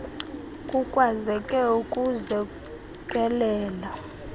kukwazeke ukuzi kelela